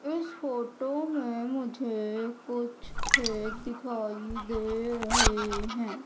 इस फोटो में मुझे कुछ खेत दिखाई दे रहे हैं।